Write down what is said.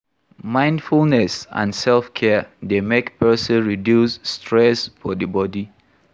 Mindfulness and selfcare dey make person reduce stress for di bodi